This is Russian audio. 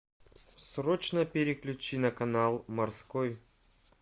срочно переключи на канал морской